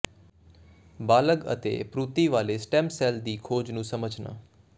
ਬਾਲਗ਼ ਅਤੇ ਭ੍ਰੂਤੀ ਵਾਲੇ ਸਟੈਮ ਸੈੱਲ ਦੀ ਖੋਜ ਨੂੰ ਸਮਝਣਾ